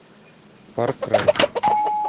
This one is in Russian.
фар край